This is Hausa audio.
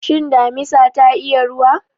Shin damisa ta iya ruwa?